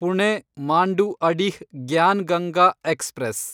Pune Manduadih Gyan Ganga express